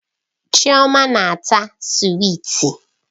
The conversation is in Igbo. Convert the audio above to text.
Chioma na-ata swiiti.